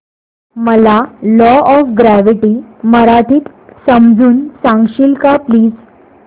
मला law of gravity मराठीत समजून सांगशील का प्लीज